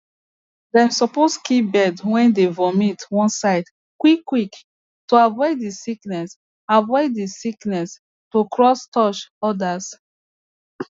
dem suppose keep bird way dey vomit one side quick quick to avoid the sickness avoid the sickness to cross touch others